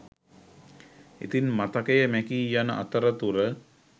ඉතින් මතකය මැකී යන අතර තුර